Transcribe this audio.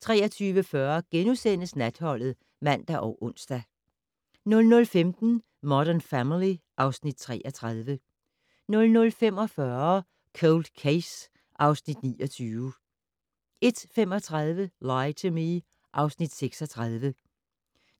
23:40: Natholdet *(man og ons) 00:15: Modern Family (Afs. 33) 00:45: Cold Case (Afs. 29) 01:35: Lie to Me (Afs. 36)